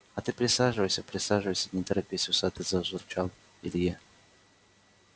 а ты присаживайся присаживайся не торопись усатый зажурчал илье